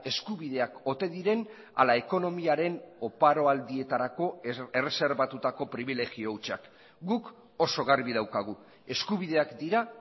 eskubideak ote diren ala ekonomiaren oparo aldietarako erreserbatutako pribilegio hutsak guk oso garbi daukagu eskubideak dira